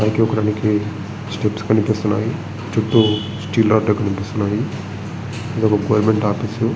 పైకి ఎక్కనికి స్టెప్స్ కనిపిస్తున్నాయి > చుట్టూ స్టీల్ రోడ్ లు అవి కనిపిస్తున్నాయి. ఇదొక గవర్నమెంట్ ఆఫీస్ .